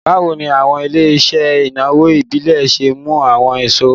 Bawo ni awọn ile-iṣẹ inawo ibile ṣe mu awọn iṣowo?